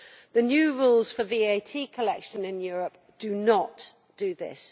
The new rules for VAT collection in Europe do not do this.